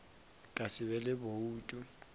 ka se be le boutu